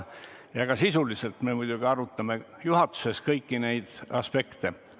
Ja ka sisuliselt me muidugi arutame juhatuses kõiki neid aspekte.